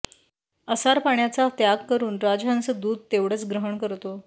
असार पाण्याचा त्याग करून राजहंस दूध तेवढंच ग्रहण करतो